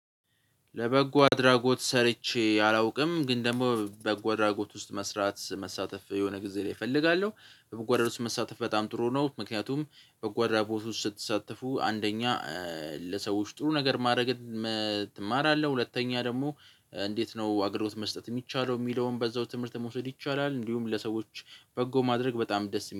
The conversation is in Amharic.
ለበጎ አድራጎት ሰርቼ አላውቅም ግን ደግሞ በጎ አድራጎት ውስጥ መስራት መሳተፍ የሆነ ጊዜ እፈልጋለሁ በጎ አድራጎት ውስጥ መሳተፍ በጣም ጥሩ ነው። ምክንያቱም በጎ አድራጎት ውስጥ ስትሳተፉ አንደኛ ለሰዎች ጥሩ ነገር ማድረግ። እማራለሁ ሁለተኛ ደግሞ እንዴት ነው አገልግሎት መስጠት ሚቻለው? ሚለውን በዛው ትምህርት መውሰድ ይቻላል እንዲሁም ለሰዎች በጎ ማድረግ በጣም ደስ